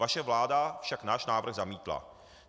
Vaše vláda však náš návrh zamítla.